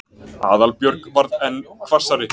Aðalbjörg varð enn hvassari.